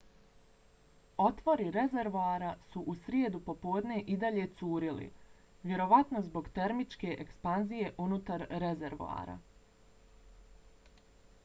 otvori rezervoara su u srijedu popodne i dalje curili vjerovatno zbog termičke ekspanzije unutar rezervoara